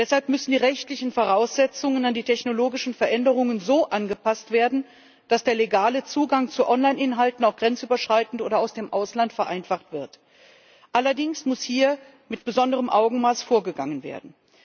Deshalb müssen die rechtlichen Voraussetzungen an die technologischen Veränderungen so angepasst werden, dass der legale Zugang zu Online Inhalten auch grenzüberschreitend oder aus dem Ausland vereinfacht wird. Allerdings muss hier mit besonderem Augenmaß vorgegangen werden.